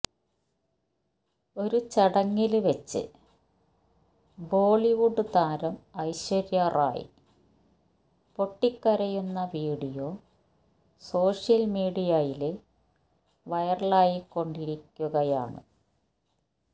ഒരു ചടങ്ങില് വെച്ച് ബോളിവുഡ് താരം ഐശ്വര്യ റായ് പൊട്ടിക്കരയുന്ന വീഡിയോ സോഷ്യല് മീഡിയയില് വൈറലായിക്കൊണ്ടിരിക്കുകയാണ്